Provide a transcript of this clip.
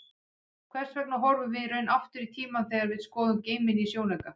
Hvers vegna horfum við í raun aftur í tímann þegar við skoðum geiminn í sjónauka?